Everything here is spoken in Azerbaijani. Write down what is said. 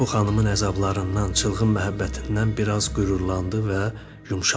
Bu xanımın əzablarından, çılğın məhəbbətindən biraz qürurlandı və yumşaldı.